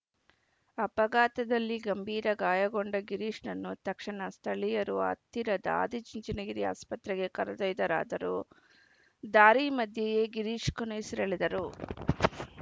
ಅಪಘಾತದಲ್ಲಿ ಗಂಭೀರ ಗಾಯಗೊಂಡ ಗಿರೀಶ್‌ನನ್ನು ತಕ್ಷಣ ಸ್ಥಳೀಯರು ಹತ್ತಿರದ ಆದಿಚುಂಚನಗಿರಿ ಆಸ್ಪತ್ರೆಗೆ ಕರೆದೊಯ್ದರಾದರೂ ದಾರಿ ಮಧ್ಯೆಯೇ ಗಿರೀಶ್‌ ಕೊನೆಯುಸಿರೆಳೆದರು